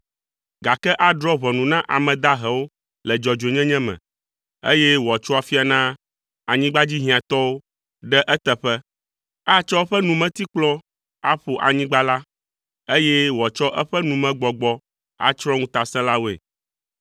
gake adrɔ̃ ʋɔnu na ame dahewo le dzɔdzɔnyenye me, eye wòatso afia na anyigbadzihiãtɔwo ɖe eteƒe. Atsɔ eƒe numetikplɔ aƒo anyigba la, eye wòatsɔ eƒe numegbɔgbɔ atsrɔ̃ ŋutasẽlawoe.